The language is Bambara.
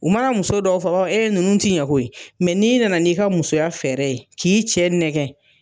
U mana muso dɔw fɔ e nunnu tɛ ɲɛ kɔ yi, n'i nana n' i ka musoya fɛɛrɛ ye k'i cɛ nɛgɛ.